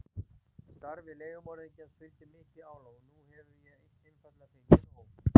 Starfi leigumorðingjans fylgir mikið álag og nú hef ég einfaldlega fengið nóg.